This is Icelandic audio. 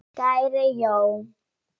Kæri Jón.